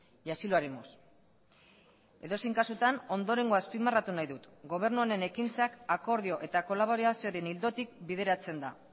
y así lo haremos edozein kasutan ondorengoa azpimarratu nahi dut gobernu honen ekintzak akordio eta kolaborazioaren ildotik bideratzen da